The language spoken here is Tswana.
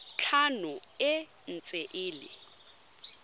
tlhano e ntse e le